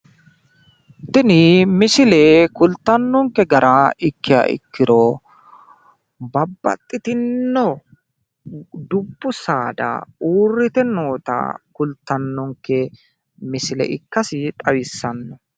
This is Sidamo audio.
tini misile kultannonke gara ikkiha ikkiro babbaxitinno dubbu saada uurrite noota kultannonke misile ikkasi xawissanno.